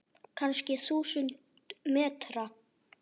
Kannski þúsund metra?